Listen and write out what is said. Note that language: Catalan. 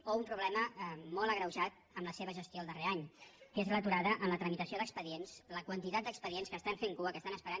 o un problema molt agreujat amb la seva gestió el darrer any que és l’aturada en la tramitació d’expedients la quantitat d’expedients que estan fent cua que estan esperant